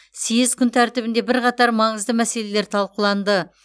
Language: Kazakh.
съез күн тәртібінде бірқатар маңызды мәселелер талқыланды